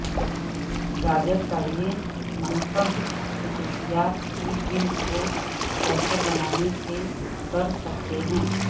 گاجر کا یہ منفرد خصوصیات کی جلد کو بہتر بنانے کے کر سکتے ہیں